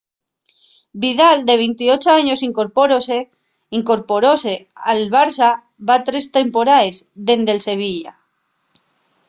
vidal de 28 años incorporóse al barça va tres temporaes dende’l sevilla